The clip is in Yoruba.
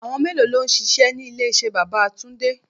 Àwọn mélòó lọ ń ṣíṣe ní ilé iṣẹ́ bàbá túndé?